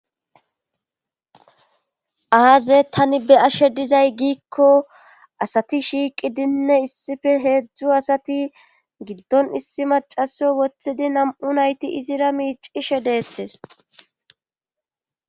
Aaze tani be'ashe dizay giikko ;asati shiiqidinne issippe heezzu asati giddon issi macaso wothidi nam'u nayti izira miicishe deettes.